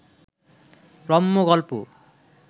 রম্য গল্প